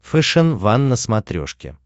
фэшен ван на смотрешке